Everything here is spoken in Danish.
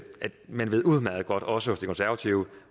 man udmærket godt også hos de konservative